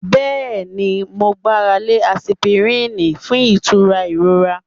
Yes, I rely on aspirin for pain relief